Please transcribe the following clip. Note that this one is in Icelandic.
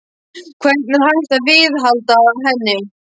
Hvernig er hægt að viðhalda henni?